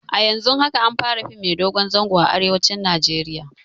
A yanzun haka an fara fim mai dogon zango a arewacin Najeriya